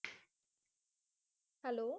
Hello